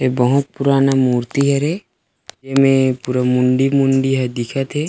ए बहुत पुराना मूर्ति हरे एमे पूरा मुंडी-मुंडी हे दिखत हे।